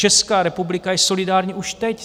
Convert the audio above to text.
Česká republika je solidární už teď.